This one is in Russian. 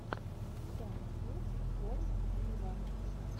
сэм смит ворлд виво